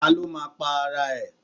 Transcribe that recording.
Ta ló máa pa ara ẹ̀.?